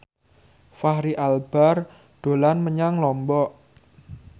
Fachri Albar dolan menyang Lombok